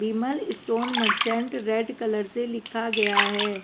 विमल stone merchant red colour से लिखा गया है।